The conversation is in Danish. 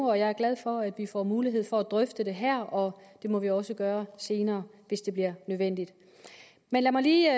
jeg er glad for at vi får mulighed for at drøfte det her og det må vi også gøre senere hvis det bliver nødvendigt men lad mig lige